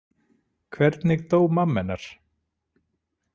Hvernig dó mamma hennar?